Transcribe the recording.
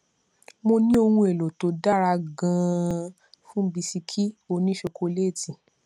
mo ní ohun èlò tó dára ganan fún bisikì òní ṣokoléétì